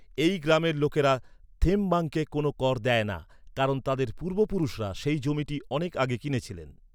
এই গ্রামের লোকেরা থেমবাংকে কোন কর দেয় না কারণ তাদের পূর্বপুরুষরা সেই জমিটি অনেক আগে কিনেছিলেন।